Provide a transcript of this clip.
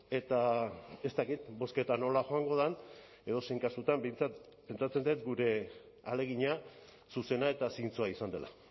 eta ez dakit bozketa nola joango den edozein kasutan behintzat pentsatzen dut gure ahalegina zuzena eta zintzoa izan dela